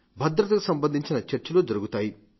భద్రతకు సంబంధించిన చర్చలు జరుగుతాయి